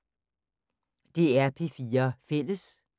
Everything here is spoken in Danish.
DR P4 Fælles